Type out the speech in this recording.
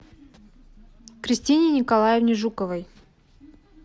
кристине николаевне жуковой